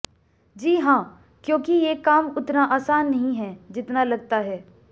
जी हां क्योंकि ये काम उतना आसान नहीं है जितना लगता है